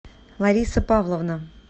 лариса павловна